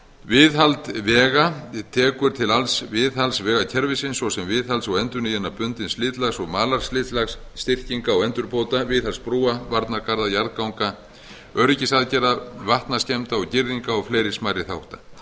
viðhald vega tekur til alls viðhalds vegakerfisins svo sem viðhalds og endurnýjunar bundins slitlags og malarslitlags styrkinga og endurbóta viðhalds brúa varnargarða jarðganga öryggisaðgerða vatnaskemmda og girðinga og fleiri smærri þátta